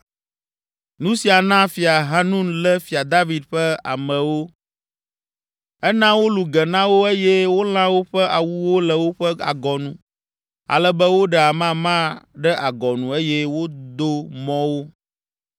Nu sia na Fia Hanun lé Fia David ƒe amewo. Ena wolũ ge na wo eye wolã woƒe awuwo le woƒe agɔnu ale be woɖe amama ɖe agɔnu eye wòdo mɔ wo.